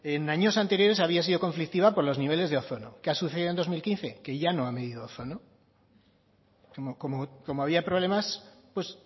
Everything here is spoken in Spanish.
en años anteriores había sido conflictiva por los niveles de ozono qué ha sucedido en dos mil quince que ya no ha medido ozono como había problemas pues